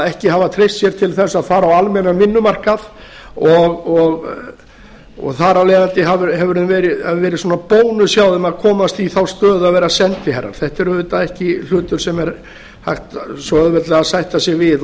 ekki hafa treyst sér til þess að fara á almennan vinnumarkað og þar af leiðandi hefur það verið svona bónus hjá þeim að komast í þá stöðu að vera sendiherrar þetta er auðvitað ekki hlutur sem er hægt svo auðveldlega að sætta sig við